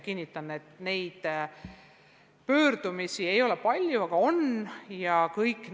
Kinnitan, et sellega seotud pöördumisi ei ole olnud palju, aga neid on olnud.